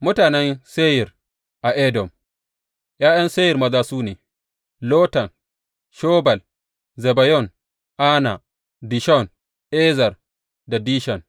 Mutanen Seyir a Edom ’Ya’yan Seyir maza su ne, Lotan, Shobal, Zibeyon, Ana, Dishon, Ezer da Dishan.